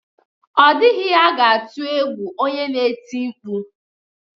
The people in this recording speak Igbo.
Ọ dịghị ihe ga-atụ egwu onye na-eti mkpu